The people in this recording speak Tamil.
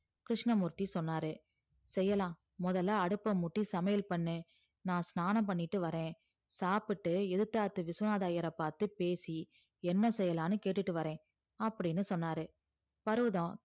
கிருஷ்ணமூர்த்தி சொன்னாரு செய்யலா முதல்ல அடுப்ப மூட்டி சமையல் பண்ணு நா ஸ்நானம் பண்ணிட்டு வரே சாப்டு எதுத்தாத்து விஸ்வநாதர் ஐயர பாத்து பேசி என்ன செய்யலான்னு கேட்டுட்டு வரே அப்டின்னு சொன்னாரு பருவதம்